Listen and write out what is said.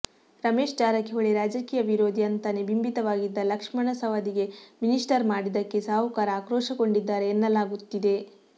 ರಮೇಶ್ ಜಾರಕಿಹೊಳಿ ರಾಜಕೀಯ ವಿರೋಧಿ ಅಂತಾನೆ ಬಿಂಬಿತವಾಗಿದ್ದ ಲಕ್ಷ್ಮಣ ಸವದಿಗೆ ಮಿನಿಸ್ಟರ್ ಮಾಡಿದ್ದಕ್ಕೆ ಸಾಹುಕಾರ ಆಕ್ರೋಶಗೊಂಡಿದ್ದಾರೆ ಎನ್ನಲಾಗುತ್ತಿದೆ